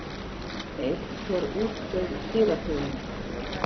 Einhver útdauð dýrategund.